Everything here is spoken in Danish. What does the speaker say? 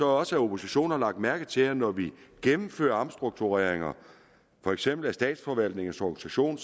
også at oppositionen har lagt mærke til at når vi gennemfører omstruktureringer af for eksempel statsforvaltningens organisation